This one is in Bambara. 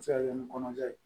A bɛ se ka kɛ ni kɔnɔja ye